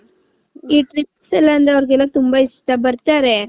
ಅವರಿಗೆಲ್ಲ ತುಂಬಾ ಇಷ್ಟ ಬರ್ತಾರೆ .